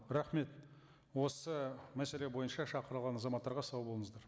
рахмет осы мәселе бойынша шақырылған азаматтарға сау болыңыздар